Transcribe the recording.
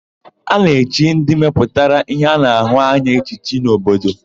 A na-echi ndị mepụtara íhé a na-ahụ anya echichi n'obodo.